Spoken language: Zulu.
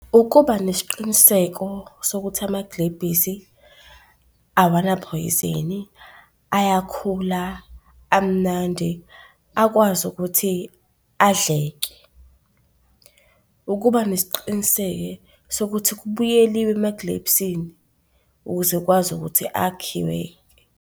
Ukuba nesiqiniseko sokuthi amagilebhisi awanaphoyizini, ayakhula, amnandi, akwazi ukuthi adleke. Ukuba nesiqiniseke sokuthi kubuyeliwe emagilebhisini ukuze ukwazi ukuthi akhiwe.